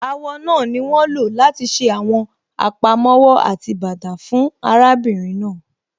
Àwọ̀ náà ni wọ́n lọ láti ṣe àwọn àpamọ́wọ́ àti bàtà fún arábìnrin náà.